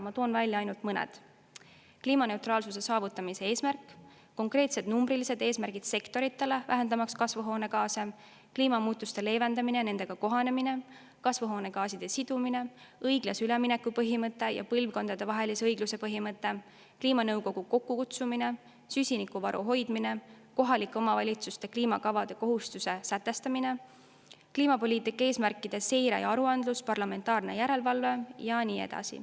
Ma toon välja ainult mõne: kliimaneutraalsuse saavutamise eesmärk, konkreetsed numbrilised eesmärgid sektoritele, vähendamaks kasvuhoonegaase, kliimamuutuste leevendamine ja nendega kohanemine, kasvuhoonegaaside sidumine, õiglase ülemineku põhimõte ja põlvkondadevahelise õigluse põhimõte, kliimanõukogu kokkukutsumine, süsinikuvaru hoidmine, kohalike omavalitsuste kliimakavade kohustuse sätestamine, kliimapoliitika eesmärkide seire ja aruandlus, parlamentaarne järelevalve ja nii edasi.